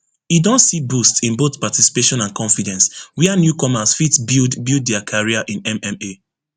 e don see boost in both participation and confidence wia newcomers fit build build dia career in mma